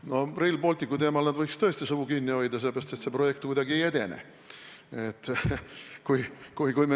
No Rail Balticu teemal nad võiks tõesti suu kinni hoida, sellepärast et see projekt kuidagi ei edene.